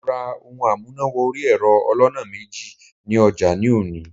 Mo ra ohun amúnà wọrí ẹ̀rọ aloná méjì ní ọjà ní òní.